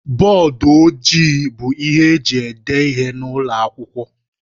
Bọdụ ojii bụ ihe eji ede ihe n'ụlọ akwụkwọ.